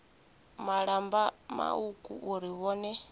malamba mauku uri na vhone